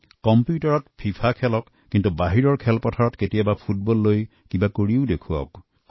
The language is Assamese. কম্পিউটাৰত ফিফা খেলা কিন্তু খেলপথাৰতো কেতিয়াবা ফুটবল খেলি চাওঁক